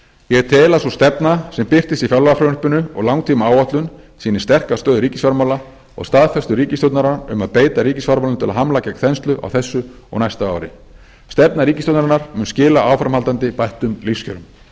ég tel að sú stefna sem birtist í fjárlagafrumvarpinu og langtímaáætlun sýni sterka stöðu ríkisfjármála og staðfestu ríkisstjórnarinnar um að beita ríkisfjármálum til að hamla gegn þenslu á þessu og næsta ári stefna ríkisstjórnarinnar mun skila áframhaldandi bættum lífskjörum